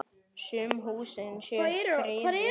Sum húsin séu friðuð.